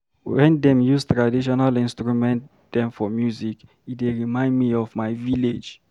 Wen dem use traditional instrument dem for music, e dey remind me of my village.